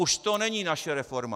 Už to není naše reforma.